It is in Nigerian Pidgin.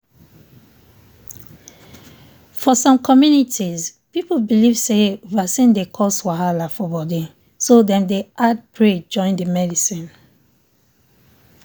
for some communities people believe say vaccine dey cause wahala for body so dem dey add pray join the medicine.